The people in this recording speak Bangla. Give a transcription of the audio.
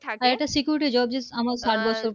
এটা securities Job